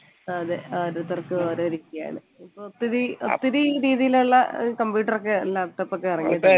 അതെ ഓരോരുത്തർക്കും ഓരോ രീതിയാണ് ഒത്തിരി ഒത്തിരി രീതിയിലുള്ള computer ഒക്കെ laptop ഇറങ്ങിയിട്ടുണ്ട്